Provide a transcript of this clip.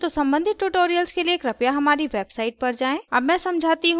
यदि नहीं तो सम्बंधित tutorials के लिए कृपया हमारी website पर जाएँ